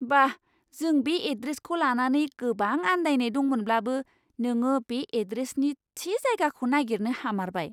बा! जों बे एड्रेसखौ लानानै गोबां आन्दायनाय दंमोनब्लाबो, नोङो बे एड्रेसनि थि जायगाखौ नागिरनो हामारबाय!